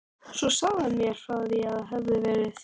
Svo sagði hann mér frá því að það hefði verið